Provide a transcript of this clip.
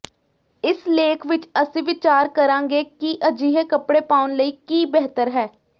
ਇਸ ਲੇਖ ਵਿਚ ਅਸੀਂ ਵਿਚਾਰ ਕਰਾਂਗੇ ਕਿ ਅਜਿਹੇ ਕੱਪੜੇ ਪਾਉਣ ਲਈ ਕੀ ਬਿਹਤਰ ਹੈ